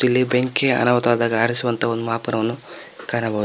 ಇಲಿ ಬೆಂಕಿ ಅನಾಹುತ ಆದಾಗ ಆರಿಸುವಂತ ಮಾಪನವನ್ನು ಕಾಣಬಹುದು.